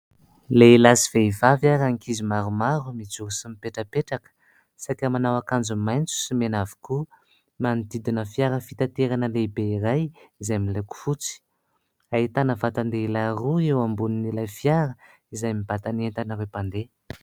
Lehilahy sy vehivavy ary ankizy maromaro mijoro sy mipetrapetraka, saika manao akanjo maitso sy mena avokoa ; manodidina fiara fitaterana lehibe iray izay miloko fotsy. Ahitana vatan-dehilahy roa eo ambonin'ilay fiara izay mibata ny entan'ireo mpandeha.